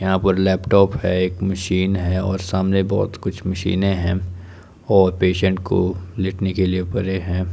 यहां पर लैपटॉप है एक मशीन है और सामने बहुत कुछ मशीन है और पेशेंट को लेटने के लिए बेड हैं।